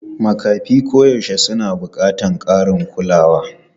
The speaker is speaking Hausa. Makafi koyaushe suna buƙatar ƙarin kulawa.